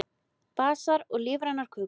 Basar og lífrænar smákökur